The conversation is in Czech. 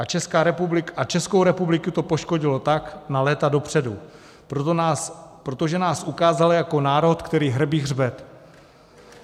A Českou republiku to poškodilo tak na léta dopředu, protože nás ukázala jako národ, který hrbí hřbet.